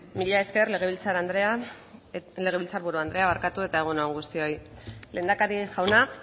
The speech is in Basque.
mila esker legebiltzar buru andrea eta egun on guztioi lehendakari jauna